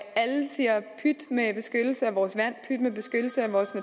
siger pyt med beskyttelse af vores vand pyt med beskyttelse af vores